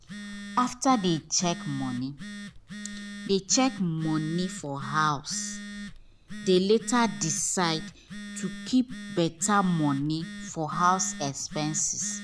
after they check money they check money for house they later decide to keep better money for house exepnse